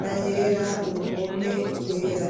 na yera uruhome rwera.